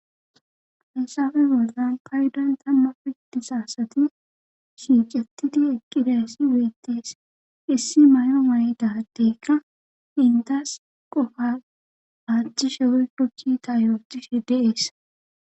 Hayssafe bollan paydon tamma pidtisaasati shicetidi eqqidassi wuettees issi may7o may7dadeykka intas qofa aachchi shewey koki ta yootishi de'ees.